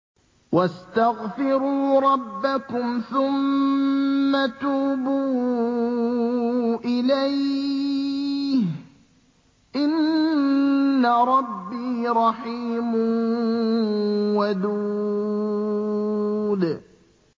وَاسْتَغْفِرُوا رَبَّكُمْ ثُمَّ تُوبُوا إِلَيْهِ ۚ إِنَّ رَبِّي رَحِيمٌ وَدُودٌ